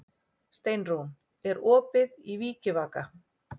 Steinrún, er opið í Vikivaka?